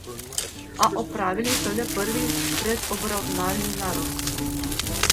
A opravili so le prvi predobravnalni narok.